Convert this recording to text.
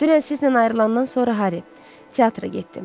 Dünən sizlə ayrılanan sonra Harry, teatra getdim.